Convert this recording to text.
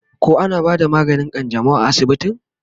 koh ana bada maganin kanjamau a asibitin?